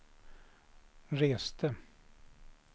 reste